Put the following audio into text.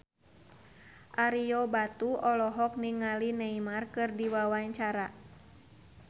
Ario Batu olohok ningali Neymar keur diwawancara